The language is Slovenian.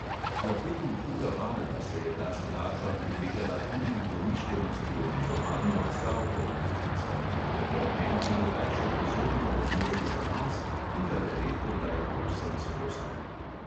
Kvartetu huga varla se je ta skladba prilegala tudi v domišljenosti oblikovanja odstavkov, ki svojemu temperamentu rajši pozorno odmeri zanos in ga le redkokdaj povsem sprosti.